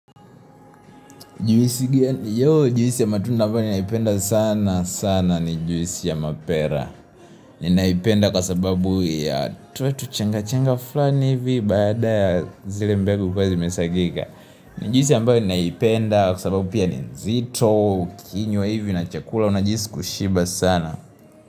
Juisi ya matunda mbayo ni naipenda sana sana ni juisi ya mapera ni naipenda kwa sababu ya tule tuchenga chenga fulani hivi Baada ya zile mbegu kuwa zimesagika ni juisi ya mbao ni naipenda kwa sababu pia ni nzito ukinywa hivi na chakula unajihisi kushiba sana.